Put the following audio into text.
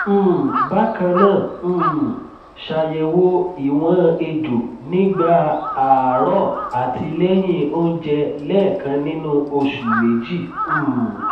um bakannaa um ṣayẹwo ìwọn èjò nígbà àárọ àti lẹyìn onjẹ lẹkan nínú oṣù méjì um